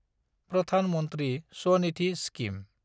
Pradhan Mantri Svanidhi scheme